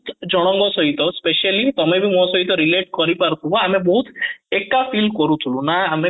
ଜଣ ଙ୍କ ସହିତ specially ତମେ ବି ମୋ ସହିତ relate କରିପାରୁଥିବ ଆମେ ବହୁତ ଏକା feel କରୁଛୁ ନା ଆମେ